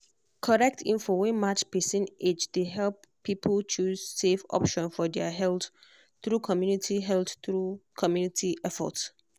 correct info wey match person age dey help people choose safe option for their health through community health through community effort.